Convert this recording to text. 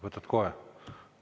Võtad kohe?